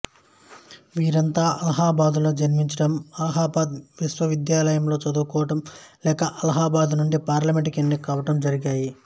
వీరంతా అలహాబాదులో జన్మించడం అలహాబాదు విశ్వవిద్యాలయంలో చదువుకోవడం లేక అలహాబాదు నుండి పార్లమెంటుకు ఎన్నిక కావడం జరిగాయి